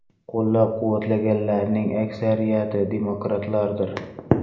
Qo‘llab-quvvatlaganlarning aksariyati demokratlardir.